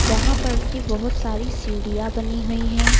यहां पर कि बहुत सारी सीढ़ियां बनी हुई हैं।